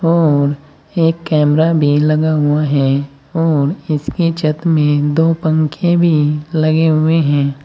और एक कैमरा भी लगा हुआ है और इसके छत में दो पंखे भी लगे हुए हैं।